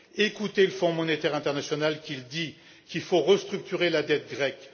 Écoutez le Fonds monétaire international, qui dit qu'il faut restructurer la dette grecque!